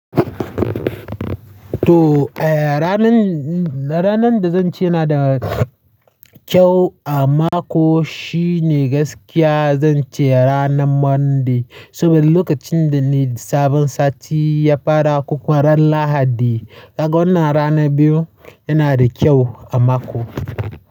To, eh ranan, ranan da zan ce na da kyau a mako shine gaskiya zan ce ranan Monday. Saboda lokacin da ne sabon sati ya fara kokuwa ran Lahadi. Daga wannan rana biyu yana da kyau a mako.